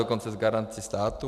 Dokonce s garancí státu.